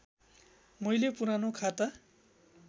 मैले पुरानो खाता